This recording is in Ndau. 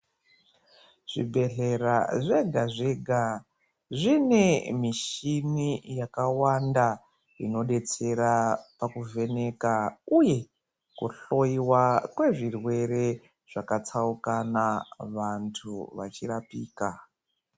Zvibhedhlera zvega zvega zvine mishini yakawanda inodetsera pakuvheneka uue nekuhloyiwa kwezvirwere zvakatsaukana vantu vachirapika.